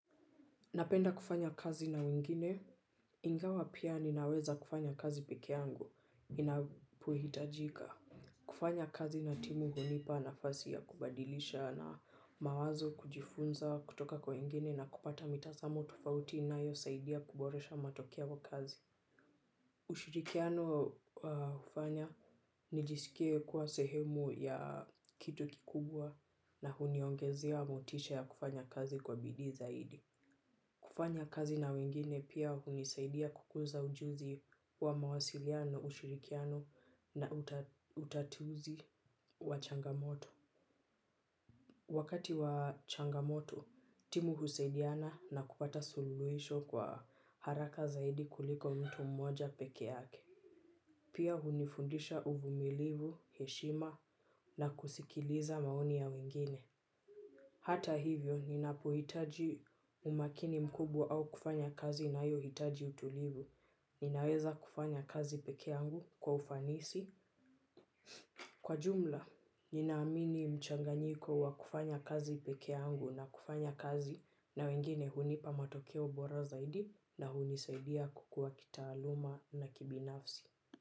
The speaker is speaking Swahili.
Napenda kufanya kazi na wengine, ingawa pia ninaweza kufanya kazi peke yangu, inapohitajika. Kufanya kazi na timu hunipa nafasi ya kubadilishana mawazo kujifunza kutoka kwa wengine na kupata mitazamo tofauti inayosaidia kuboresha matokeo kwa kazi. Ushirikiano hufanya, nijisikie kuwa sehemu ya kitu kikubwa na huniongezea motisha ya kufanya kazi kwa bidii zaidi. Kufanya kazi na wengine pia hunisaidia kukuza ujuzi wa mawasiliano, ushirikiano na utatuzi wa changamoto. Wakati wa changamoto, timu husaidiana na kupata suluhisho kwa haraka zaidi kuliko mtu mmoja peke yake. Pia hunifundisha uvumilivu, heshima na kusikiliza maoni ya wengine. Hata hivyo, ninapohitaji umakini mkubwa au kufanya kazi inayohitaji utulivu. Ninaweza kufanya kazi peke yangu kwa ufanisi. Kwa jumla, nina amini mchanganyiko wa kufanya kazi peke yangu na kufanya kazi na wengine hunipa matokeo bora zaidi na hunisaidia kukua kitaaluma na kibinafsi.